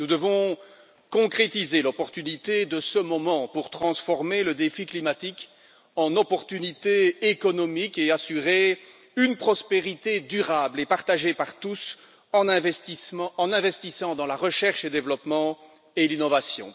Nous devons concrétiser l'opportunité de ce moment pour transformer le défi climatique en opportunité économique et assurer une prospérité durable et partagée par tous, en investissant dans la recherche et développement et dans l'innovation.